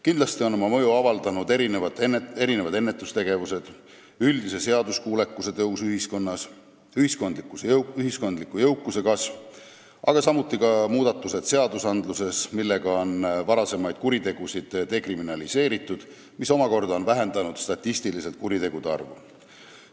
Kindlasti on oma mõju avaldanud ennetustegevused, üldise seaduskuulekuse tõus ühiskonnas, ühiskondliku jõukuse kasv, aga samuti muudatused seadustes, millega on varasemaid kuritegusid dekriminaliseeritud, mis omakorda on statistiliselt vähendanud kuritegude arvu.